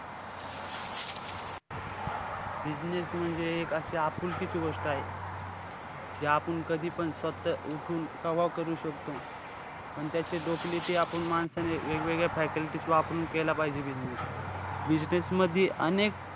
Business म्हणजे एक अशी आपुलकीची गोष्ट आहे. जे आपुन कधीपण स्वतः उठून कव्हा करू शकतो पण त्याची आपण माणसाने वेगवेगळ्या faculties वापरून केल्या पाहिजे business. business मधी अनेक